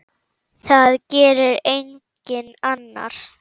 Það gerir enginn annar.